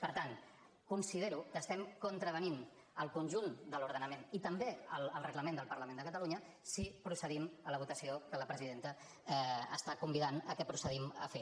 per tant considero que estem contravenint al conjunt de l’ordenament i també al reglament del parlament de catalunya si procedim a la votació que la presidenta està convidant que procedim a fer